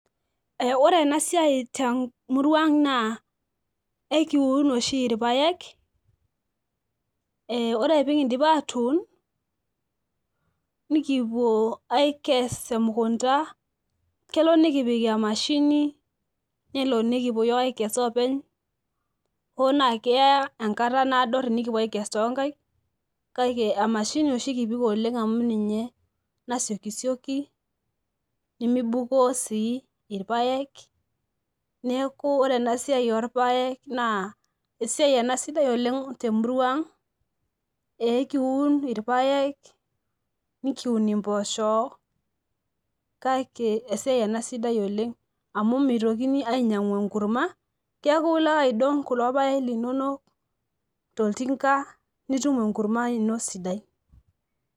ee ore ena siai temurua ang naa ekiun oshi ilpaek, ee ore pee kidip atuun ,nikipuo aikes emukunta. kelo nikipik emashini, nelo nikipuo iyiook aikes oopeny. hoo naa keya enkata naado tenikipuo aikes too nkaik, kake emashini oshi kipik oleng amu ninye nasiokisioki, nemibukoo sii irpaek. neeku ore ena siai orpaek naa esiai ena sidai oleng temurua ang' ekiun irpaek, nikiun mpoosho kake esiaii ena sidai oleng amu mitokini ainyiangu enkurma. keeku olo ake aidong kulo paek toltinka nitum enkurma ino sidai.